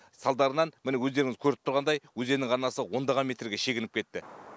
салдарынан міне өздеріңіз көріп тұрғандай өзеннің арнасы ондаған метрге шегініп кетті